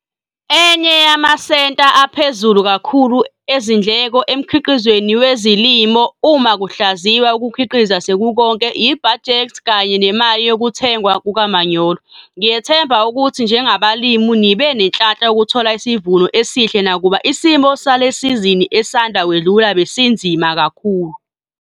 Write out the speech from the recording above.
Enye yamasenta aphezulu kakhulu ezindleko emkhiqizweni wezilimo uma kuhlaziywa ukukhiqiza sekukonke yibhajethi kanye nemali yokuthengwa kukamanyolo. Ngiyethemba ukuthi njengabalimi nibe nenhlanhla yokuthola isivuno esihle nakuba isimo salesizini esanda kwedlule besinzima kakhulu.